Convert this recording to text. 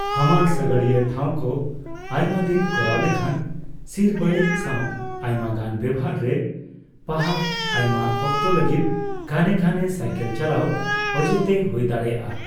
ᱦᱟᱢᱟᱞ ᱥᱟᱜᱟᱲᱤᱭᱟᱹ ᱴᱷᱟᱣᱠᱚ ᱟᱭᱢᱟ ᱫᱤᱱ ᱠᱚᱨᱟᱣ ᱞᱮᱠᱷᱟᱱ ᱥᱤᱨ ᱵᱟᱹᱲᱤᱡ ᱥᱟᱣ ᱟᱭᱢᱟ ᱜᱟᱱ ᱵᱮᱵᱦᱟᱨᱮ ᱯᱟᱦᱟᱨ, ᱟᱭᱢᱟ ᱚᱠᱛᱚ ᱞᱟᱹᱜᱤᱫ ᱜᱷᱟᱱᱮ ᱜᱷᱟᱱᱮ ᱥᱟᱭᱠᱮᱞ ᱪᱟᱞᱟᱣ ᱚᱡᱮᱛᱮ ᱦᱩᱭ ᱫᱟᱲᱮᱭᱟᱜᱼᱟ ᱾